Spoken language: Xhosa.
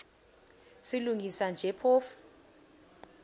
silungisa nje phofu